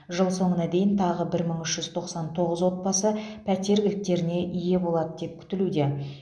жыл соңына дейін тағы бір мың үш жүз тоқсан тоғыз отбасы пәтер кілттеріне ие болады күтілуде